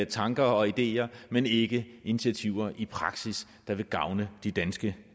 tanker og ideer men ikke initiativer i praksis der vil gavne de danske